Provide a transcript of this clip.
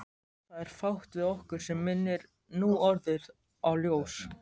Það er fátt við okkur sem minnir núorðið á ljós.